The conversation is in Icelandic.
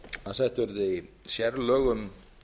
að sett verði sérlög um